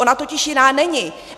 Ona totiž jiná není.